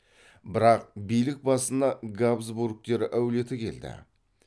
бірақ билік басына габсбургтер әулеті келді